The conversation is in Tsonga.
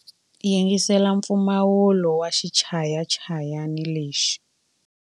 Yingisela mpfumawulo wa xichayachayani lexi.